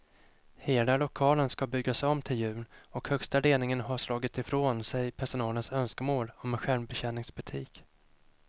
Hela lokalen ska byggas om till jul och högsta ledningen har slagit ifrån sig personalens önskemål om en självbetjäningsbutik.